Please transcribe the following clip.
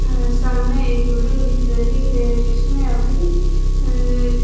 मेरे सामने एक बिल्डिंग दिख रही है जिसमें अभी अ--